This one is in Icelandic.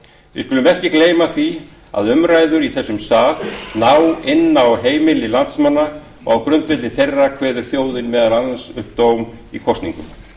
skulum ekki gleyma því að umræður í þessum sal ná inn á heimili landsmanna og á grundvelli þeirra kveður þjóðin meðal annars upp sinn dóm í kosningum